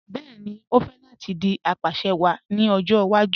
Bẹẹni, o fẹ́ láti dì apàṣẹwàá ní ọjọ́ ìwàjú